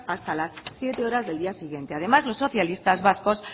hasta las siete cero del día siguiente además los socialistas vascos